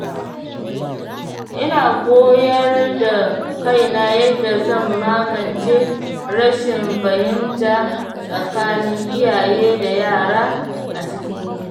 Ina koyar da kaina yadda zan magance rashin fahimta tsakanin iyaye da yara a cikin gida.